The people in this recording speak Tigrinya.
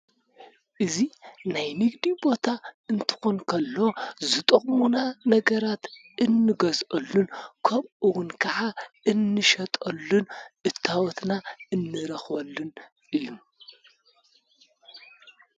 እዚ ናይ ንግዲ ቦታ እንትኾን እንተሎ ዝጠቁሙና ነገራት እንገዝኣሉን ኸምኡውን እንሸጠሉን እታወትና እንረኽበሉን እዩ።